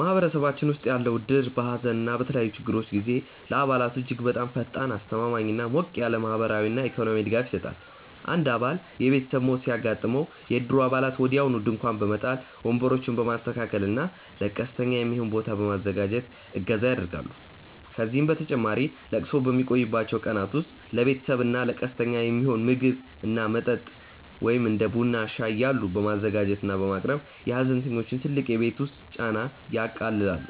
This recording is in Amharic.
ማህበረሰባችን ውስጥ ያለው እድር በሐዘን እና በተለያዩ ችግሮች ጊዜ ለአባላቱ እጅግ በጣም ፈጣን፣ አስተማማኝ እና ሞቅ ያለ ማህበራዊና ኢኮኖሚያዊ ድጋፍ ይሰጣል። አንድ አባል የቤተሰብ ሞት ሲያጋጥመው፣ የእድሩ አባላት ወዲያውኑ ድንኳን በመጣል፣ ወንበሮችን በማስተካከል እና ለቀስተኛ የሚሆን ቦታ በማዘጋጀት እገዛ ያደርጋሉ። ከዚህም በተጨማሪ ለቅሶው በሚቆይባቸው ቀናት ውስጥ ለቤተሰቡ እና ለቀስተኛው የሚሆን ምግብ እና መጠጥ (እንደ ቡና እና ሻይ ያሉ) በማዘጋጀት እና በማቅረብ የሐዘንተኞቹን ትልቅ የቤት ውስጥ ጫና ያቃልላሉ።